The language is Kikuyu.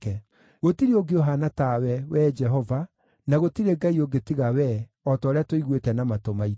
“Gũtirĩ ũngĩ ũhaana tawe, Wee Jehova, na gũtirĩ Ngai ũngĩ tiga Wee, o ta ũrĩa tũiguĩte na matũ maitũ.